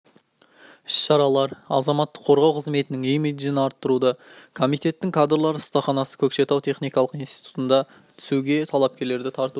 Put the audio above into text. іс-шаралар азаматтық қорғау қызметінің имиджін арттыруды комитетінің кадрлар ұстаханасы көкшетау техникалық институтына түсуге талапкерлерді тартуды